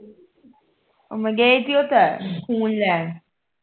ਉਹ ਮੈਂ ਗਈ ਸੀ ਓਥੇ ਖੂਨ ਲੈਣ